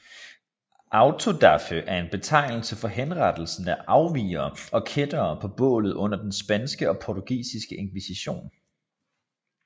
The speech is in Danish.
Autodafé er en betegnelse for henrettelsen af afvigere og kættere på bålet under den spanske og portugisiske inkvisition